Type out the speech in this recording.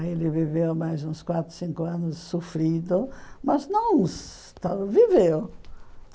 Aí ele viveu mais uns quatro, cinco anos sofrido, mas não viveu.